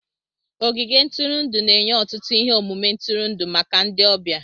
Ogige ntụrụndụ na-enye ọtụtụ ihe omume ntụrụndụ maka ndị ọbịa.